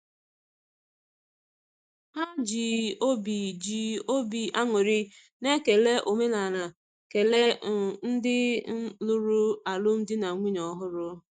Ha ji obi ji obi aṅụrị na ekele omenaala kelee um ndị um lụrụ alụmdi na nwunye ọhụrụ.